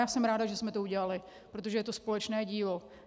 Já jsem ráda, že jsme to udělali, protože je to společné dílo.